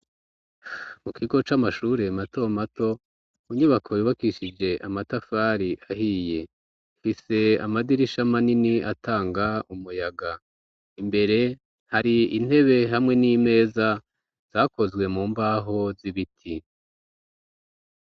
Mu kigo c'amashure mato mato mu nyubako yubakishije amatafari ahiye ifise amadirisha manini atanga umuyaga imbere hari intebe hamwe n'imeza zakozwe mu mbaho z'ibiti.